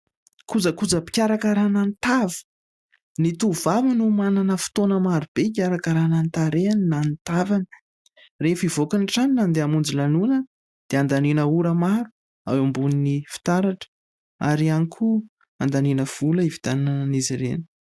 kojakoojam-pikarakarana ny tava. Ny tovavano manana fotoana maro be hikarakarana ny tarehany na ny tavany. Rehefa hivoaka ny trano na handeha hamonjy lanonana dia handaniana ora maro eo ambonin'ny fitaratra, ary ihany koa andaniana vola hividianana an'izy ireny.